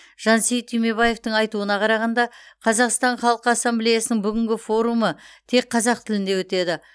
жансейіт түймебаевтың айтуына қарағанда қазақстан халқы ассамблеясының бүгінгі форумы тек қазақ тілінде өтеді